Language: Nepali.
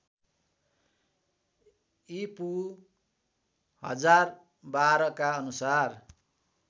ईपू १०१२ का अनुसार